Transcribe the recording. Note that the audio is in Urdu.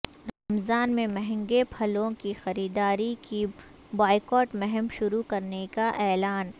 رمضان میں مہنگے پھلوں کی خریداری کی بائیکاٹ مہم شروع کرنے کا اعلان